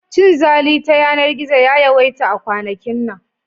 Cinzali ta yanar-gizo ya yawaita a kwanakin nan.